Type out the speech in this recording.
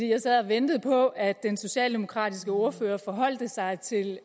jeg sad og ventede på at den socialdemokratiske ordfører forholdt sig til